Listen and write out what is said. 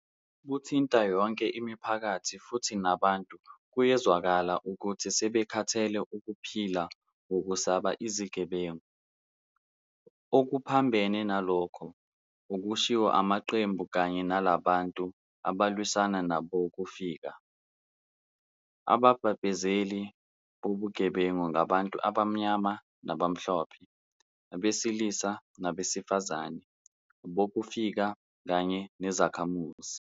Buthinta yonke imiphakathi futhi nabantu kuyezwakala ukuthi sebekhathele ukuphila ngokusaba izigebengu. Okuphambene nalokho okushiwo amaqembu kanye nalabo bantu abalwisana nabokufika, ababhebhezeli bobugebengu ngabantu abamnyama nabamhlophe, abesilisa nabesifazane, abokufika kanye nezakhamuzi.